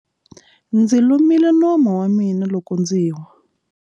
Ndzi lumile nomu wa mina loko ndzi wa.